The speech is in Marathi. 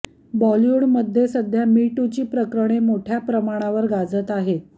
बॉलिवूडमध्ये सध्या मी टूची प्रकरणे मोठ्या प्रमाणावर गाजत आहेत